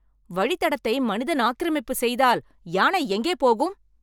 வழித்தடத்தை மனிதன் ஆக்கிரமிப்பு செய்தால் யானை எங்கே போகும்?